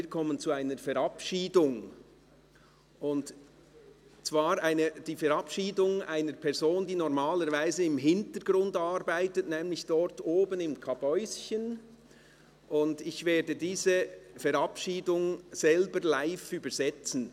Wir kommen zur Verabschiedung einer Person, die normalerweise im Hintergrund arbeitet, nämlich dort oben im Kabäuschen, und ich werde diese Verabschiedung selber live übersetzen.